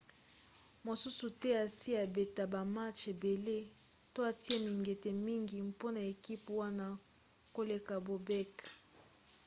moto mosusu te asi abeta bamatch ebele to atia mingete mingi mpona ekipe wana koleka bobek